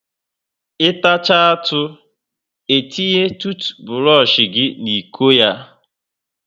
I tachaa atụ, e tinye tuutuburosh gị n'iko ya